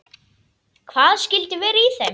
Hvað skyldi vera í þeim?